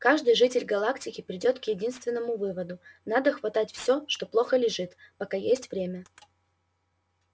каждый житель галактики придёт к единственному выводу надо хватать все что плохо лежит пока есть время